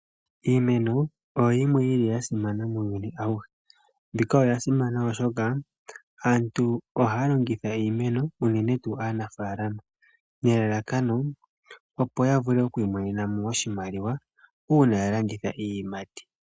Iimeno oyo yimwe yili yasimana muuyuni awuhe, mbika oyasimana oshoka aantu ohaya longitha iimeno unene tuu aanafaalama nelalakano opo yavule okwiimonenamo oshimaliwa uuna yalanditha iiyimati.